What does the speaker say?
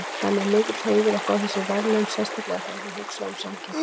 Það er mér mikill heiður að fá þessi verðlaun sérstaklega þegar þú hugsar um samkeppnina.